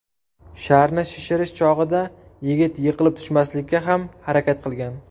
Sharni shishirish chog‘ida yigit yiqilib tushmaslikka ham harakat qilgan.